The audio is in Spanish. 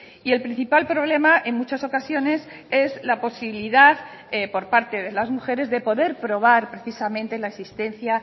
y el principal problema en muchas ocasiones es la posibilidad por parte de las mujeres de poder probar precisamente la existencia